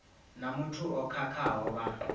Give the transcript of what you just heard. na muthu o khakhaho vha